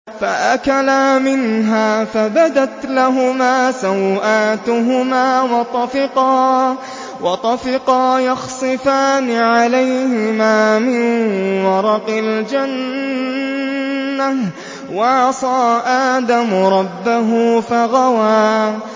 فَأَكَلَا مِنْهَا فَبَدَتْ لَهُمَا سَوْآتُهُمَا وَطَفِقَا يَخْصِفَانِ عَلَيْهِمَا مِن وَرَقِ الْجَنَّةِ ۚ وَعَصَىٰ آدَمُ رَبَّهُ فَغَوَىٰ